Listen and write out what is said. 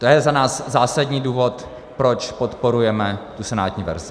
To je za nás zásadní důvod, proč podporujeme tu senátní verzi.